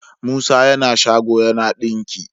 musa yAna shago yAna dinki